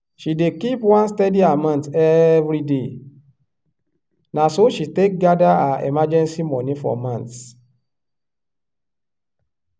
she dey keep one steady amount every day na so she take gather her emergency money for months.